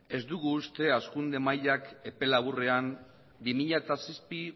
ez dugu uste hazkunde mailak epe laburren bi mila zazpi